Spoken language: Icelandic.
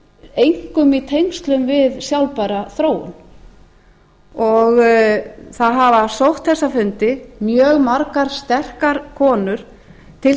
einkum í tengslum við sjálfbæra þróun það hafa sótt þessa fundi mjög margar sterkar konur til